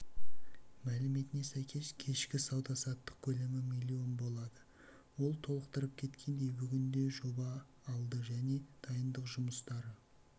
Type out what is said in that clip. мәліметіне сәйкес кешкі сауда-саттық көлемі млн болды ол толықтырып кеткендей бүгінде жоба алды және дайындық жұмыстары